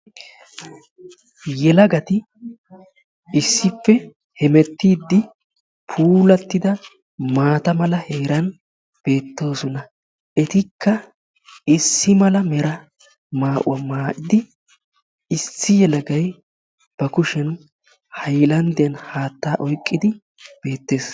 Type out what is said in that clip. Yelagati issippe hemettiiddi puulattida maata mala heeran beettoosona. Etikka issi mala mera maa'uwa maayidi issi yelagay ba kushiyan hayilanddiyan haattaa oyiqqidi beettees.